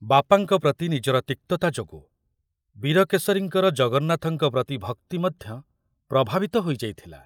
ବାପାଙ୍କ ପ୍ରତି ନିଜର ତିକ୍ତତା ଯୋଗୁ ବୀରକେଶରୀଙ୍କର ଜଗନ୍ନାଥଙ୍କ ପ୍ରତି ଭକ୍ତି ମଧ୍ୟ ପ୍ରଭାବିତ ହୋଇଯାଇଥିଲା।